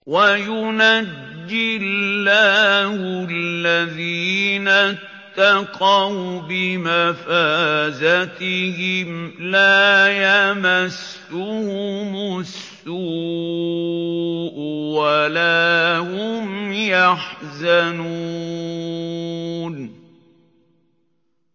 وَيُنَجِّي اللَّهُ الَّذِينَ اتَّقَوْا بِمَفَازَتِهِمْ لَا يَمَسُّهُمُ السُّوءُ وَلَا هُمْ يَحْزَنُونَ